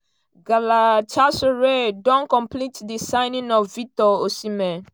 galatasaray don complete di signing of victor osimehn.